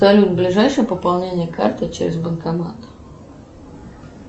салют ближайшее пополнение карты через банкомат